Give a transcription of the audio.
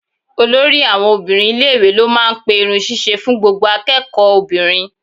Olórí àwọn obìnrin ilé-ìwé ló máa ń pe irun ṣíṣe fún gbogbo akẹ́kọ̀ọ́ obìnrin.